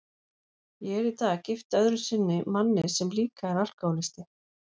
Ég er í dag gift öðru sinni manni sem líka er alkohólisti.